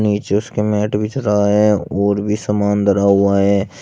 नीचे उसके मैट बिछ रहा है और भी समान धरा हुआ है।